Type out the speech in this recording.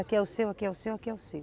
Aqui é o seu, aqui é o seu, aqui é o seu.